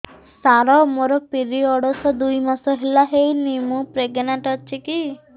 ସାର ମୋର ପିରୀଅଡ଼ସ ଦୁଇ ମାସ ହେଲା ହେଇନି ମୁ ପ୍ରେଗନାଂଟ ଅଛି କି